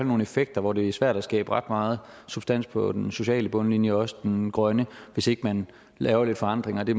nogle effekter hvor det er svært at skabe ret meget substans på den sociale bundlinje og også den grønne hvis ikke man laver lidt forandringer det